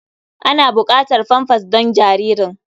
Ana buƙatar famfas don jaririn.